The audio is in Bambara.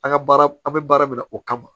An ka baara an bɛ baara min na o kama